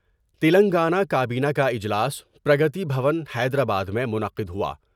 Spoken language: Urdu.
تلنگانہ کا بینہ کا اجلاس پرگتی بھون حیدرآباد میں منعقد ہوا ۔